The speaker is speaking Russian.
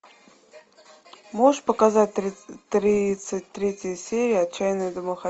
можешь показать тридцать третья серия отчаянные домохозяйки